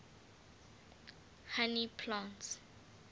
honey plants